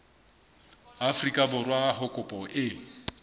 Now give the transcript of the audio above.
afrika borwa ha kopo e